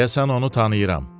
Deyəsən onu tanıyıram.